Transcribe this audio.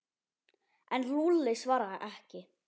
En Lúlli svaraði ekki.